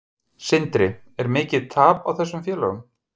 Sindri: Er mikið tap á þessum félögum?